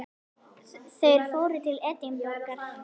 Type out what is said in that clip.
Þeir fóru til Edinborgar.